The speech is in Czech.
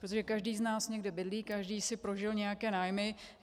Protože každý z nás někde bydlí, každý si prožil nějaké nájmy.